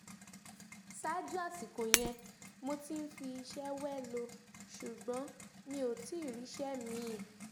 ṣáájú àsìkò yẹn mo ti ń fi iṣẹ́ wẹ́lo ṣùgbọ́n mi ò tí ì ríṣẹ́ mín-ín